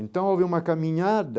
Então, houve uma caminhada,